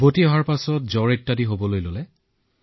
ঘূৰি আহিয়েই জ্বৰত ভুগিলো